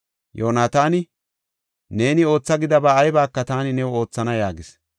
Yoonataani, “Neeni ootha gidaba aybaka taani new oothana” yaagis.